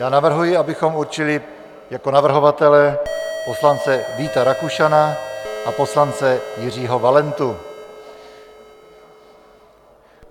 Já navrhuji, abychom určili jako ověřovatele poslance Víta Rakušana a poslance Jiřího Valentu.